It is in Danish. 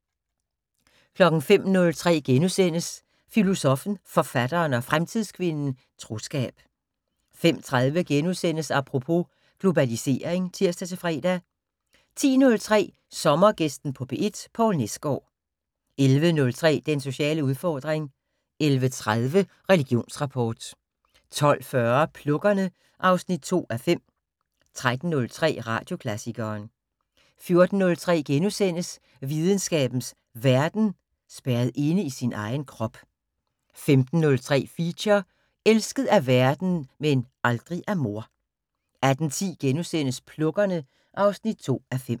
05:03: Filosoffen, Forfatteren og Fremtidskvinden - Troskab * 05:30: Apropos - Globalisering *(tir-fre) 10:03: Sommergæsten på P1: Poul Nesgaard 11:03: Den sociale udfordring 11:30: Religionsrapport 12:40: Plukkerne (2:5) 13:03: Radioklassikeren 14:03: Videnskabens Verden: Spærret inde i sin egen krop * 15:03: Feature: Elsket af verden - men aldrig af mor 18:10: Plukkerne (2:5)*